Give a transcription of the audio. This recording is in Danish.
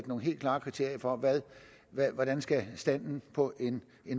nogle helt klare kriterier for hvordan standen for en